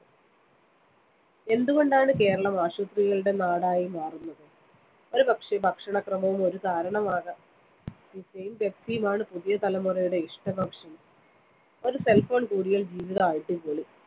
എന്തുകൊണ്ടാണ്‌ കേരളം ആശുപത്രികളുടെ നാടായി മാറുന്നത്‌. ഒരുപക്ഷേ, ഭക്ഷണക്രമവും ഒരു കാരണമാകാം. Pizza യും Pepsi യുമാണ്‌ പുതിയ തലമുറയുടെ ഇഷ്ടഭക്ഷണം. ഒരു cell phone കൂടിയാൽ ജീവിതം അടിപൊളി.